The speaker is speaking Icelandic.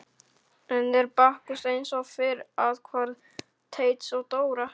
Enn er Bakkus eins og fyrr athvarf Teits og Dóra.